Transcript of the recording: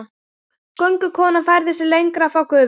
Göngukonan færði sig lengra frá gufunni.